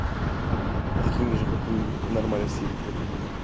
такими же как вы в нормальных семьях родились